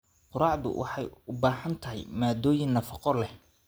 Quraacdu waxay u baahan tahay maaddooyin nafaqo leh.